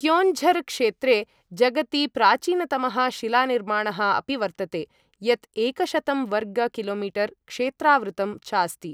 क्योञ्झर् क्षेत्रे जगति प्राचीनतमः शिलानिर्माणः अपि वर्तते, यत् एकशतं वर्ग कि.मी. क्षेत्रावृतम् चास्ति।